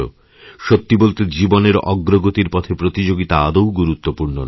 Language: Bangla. সত্যি বলতে জীবনের অগ্রগতির পথেপ্রতিযোগিতা আদৌ গুরুত্বপূর্ণ নয়